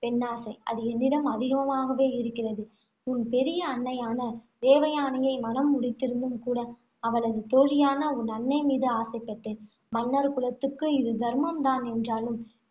பெண்ணாசை. அது என்னிடம் அதிகமாகவே இருக்கிறது. உன் பெரிய அன்னையான தேவயானையை மணம் முடித்திருந்தும் கூட, அவளது தோழியான உன் அன்னை மீது ஆசைப்பட்டேன். மன்னர் குலத்துக்கு இது தர்மம் தான் என்றாலும்,